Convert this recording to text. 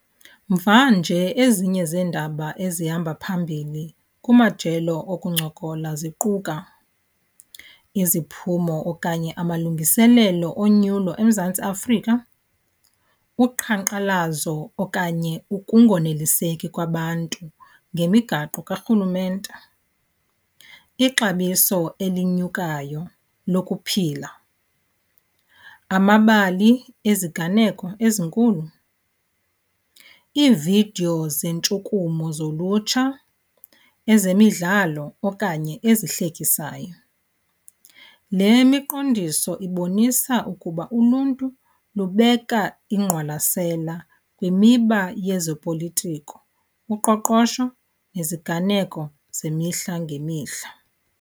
Mvanje ezinye zeendaba ezihamba phambili kumajelo okuncokola ziquka iziphumo okanye amalungiselelo onyulo eMzantsi Afrika, uqhankqalazo okanye ukungoneliseki kwabantu ngemigaqo karhulumente, ixabiso elinyukayo lokuphila, amabali eziganeko ezinkulu, iividiyo zentshukumo zolutsha, ezemidlalo okanye ezihlekisayo. Le miqondiso ibonisa ukuba uluntu lubeka ingqwalasela kwimiba yezopolitiko, uqoqosho neziganeko zemihla ngemihla.